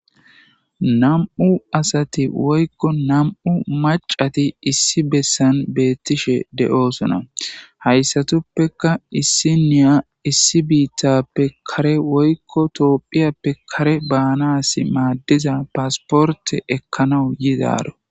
Nam,u asati woykko nam,u macati issi bessan beettishe de,oosona hayssatuppeka issi niya issi biittappe kare woykko toohphiyappe kare baanas maaddiza paasporte ekkanawu yidaro.